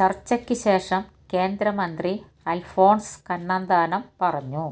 ചര്ച്ചയ്ക്കുശേഷം കേന്ദ്രമന്ത്രി അല്ഫോണ്സ് കണ്ണന്താനം പറഞ്ഞു